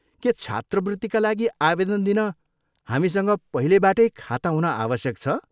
के छात्रवृत्तिका लागि आवेदन दिन हामीसँग पहिलेबाटै खाता हुन आवश्यक छ?